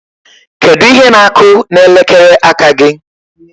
Kedu ihe na-akụ n'elekere aka gị?